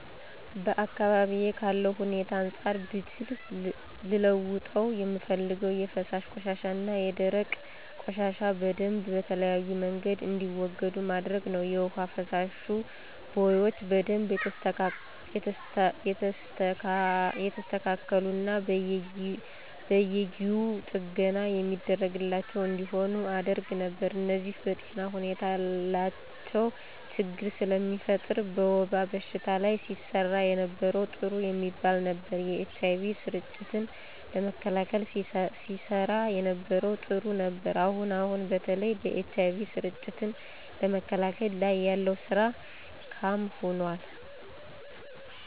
በአካባቢዬ ካለው ሁኔታ አንፃር ብችል ልለውጠው የምፈልገው የፈሳሽ ቆሻሻና የደረቅ ቆሻሻ በደምብ በተለያየ መንገድ እንዲወገድ ማድረግ ነው። የውሃ መፋሰሻ ቦዮች በደንብ የተስተካሉና በየጊው ጥገና የሚደረግላቸው እንዲሆኑ አደረግ ነበር። እነዚህ በጤና ሁኔታ ላች ችግር ስለሚፈጥር። በወባ በሽታ ላይ ሲሰራ የነበረው ጥሩ የሚባል ነበር። የኤች አይ ቪ ስርጭትን ለመከላከል ሲሰራ የነበረው ጥሩ ነበር። አሁን አሁን በተለይ በኤች አይ ቪ ስርጭትን ለመከላከል ላይ ያለው ስራ ካም ሆኖል።